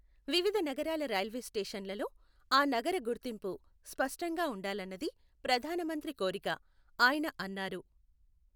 వివిధ నగరాల రైల్వే స్టేషన్లలో ఆ నగర గుర్తింపు స్పష్టంగా ఉండాలన్నది ప్రధానమంత్రి కోరిక, ఆయన అన్నారు.